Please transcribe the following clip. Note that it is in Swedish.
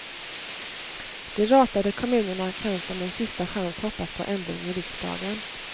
De ratade kommunerna kan som en sista chans hoppas på ändring i riksdagen.